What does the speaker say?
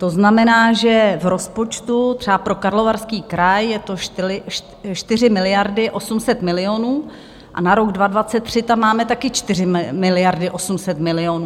To znamená, že v rozpočtu třeba pro Karlovarský kraj jsou to 4 miliardy 800 milionů a na rok 2023 tam máme taky 4 miliardy 800 milionů.